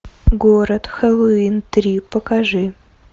город хэллоуин три покажи